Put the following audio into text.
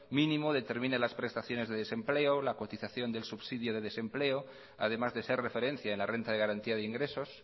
mínimo determina las prestaciones de desempleo la cotización del subsidio de desempleo además de ser referencia en la renta de garantía de ingresos